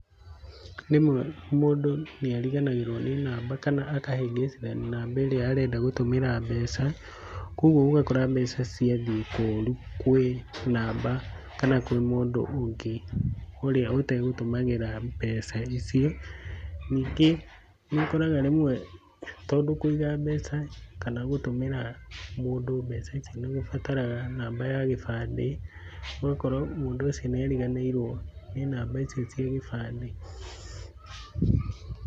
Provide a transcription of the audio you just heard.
Rĩmwe mũndũ nĩariganagĩrwo nĩ namba kana akahĩngĩcithania namba ĩrĩa arenda gũtũmĩra mbeca, koguo ũgakora mbeca ciathiĩ koru kwĩ namba kana kwĩ mũndũ ũngĩ ũrĩa ũtagũtũmagĩra mbeca icio. Ningĩ nĩũkoraga rĩmwe tondũ kũiga mbeca kana gũtũmĩra mũndũ mbeca ici nĩũbataraga namba ya gĩbandĩ, ũgakora mũndũ ũcio nĩariganĩirwo nĩ namba icio cia gĩbandĩ.